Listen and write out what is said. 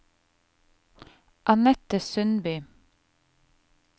Annette Sundby